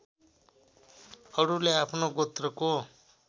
अरूले आफ्नो गोत्रको